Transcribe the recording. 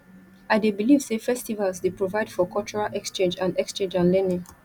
i dey believe say festivals dey provide for cultural exchange and exchange and learning